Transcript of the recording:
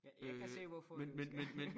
Jeg kan se hvorfor du skal